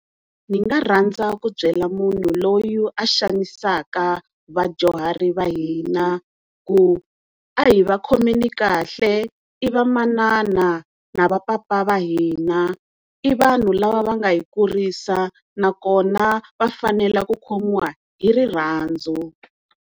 Ni nga rhandza ku byela munhu loyi a xanisaka vadyuhari va hina ku a hi va khomeni kahle i va manana na va papa va hina, i vanhu lava va nga hi kurisa nakona va fanele ku khomiwa hi rirhandzu.